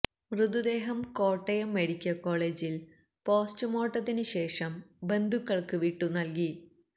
മൃതദേഹം കോട്ടയം മെഡിക്കല് കോളജില് പോസ്റ്റുമോര്ട്ടത്തിന് ശേഷം ബന്ധുക്കള്ക്ക് വിട്ടു നല്കി